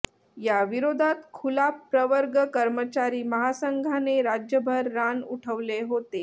याविरोधात खुला प्रवर्ग कर्मचारी महासंघाने राज्यभर रान उठवले होते